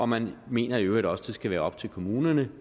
man mener i øvrigt også at det skal være op til kommunerne